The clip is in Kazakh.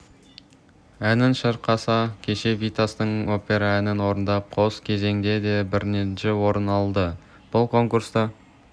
әнін шырқаса кеше витастың опера әнін орындап қос кезеңде де бірінші орын алды бұл конкурста